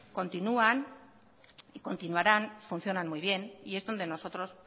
continúan y continuaran funcionan muy bien y es donde nosotros